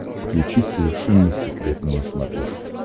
включи совершенно секретно на смотрешке